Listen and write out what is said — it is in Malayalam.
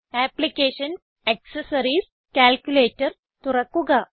അപ്ലിക്കേഷൻസ് ആക്സസറീസ് കാൽക്കുലേറ്റർ തുറക്കുക